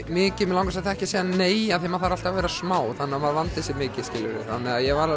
mikið mig langar samt ekki að segja nei af því að maður þarf alltaf að vera smá þannig að maður vandi sig mikið þannig að ég var